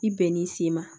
I bɛn'i sigi ma